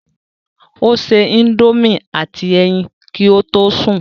Ó se indomie àti ẹyin kí ó tó sùn